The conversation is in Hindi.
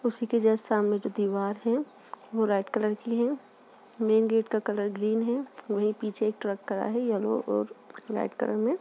उसी के जस्ट सामने दीवार है वो रेड कलर की है। मैन गेट का कलर ग्रीन है। वही पीछे एक ट्रक खड़ा है। येलो और लाइट कलर में।